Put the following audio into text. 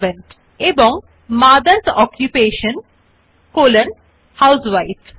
একইভাবে আলাদা point এ লিখুন father's occupation colon government servant এবং মথার্স অকুপেশন কলন হাউসউইফ